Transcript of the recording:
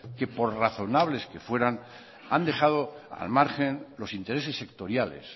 que por razonables que fueran han dejado al margen los intereses sectoriales